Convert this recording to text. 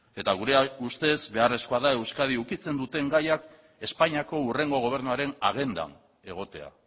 eta gure ustez beharrezkoa da euskadi ukitzen duten gaiak espainiako hurrengo gobernuaren agendan egotea